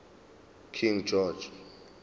king george